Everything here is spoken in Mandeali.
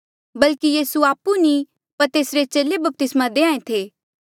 बल्कि यीसू आपु नी पर तेसरे चेले बपतिस्मा देंहां ऐें थे